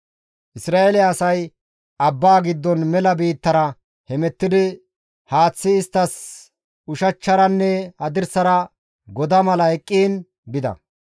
Isra7eele asay abbaa giddon mela biittara hemettidi haaththi isttas ushachcharanne hadirsara goda mala eqqiin bida.